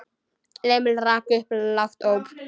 Emil rak upp lágt óp.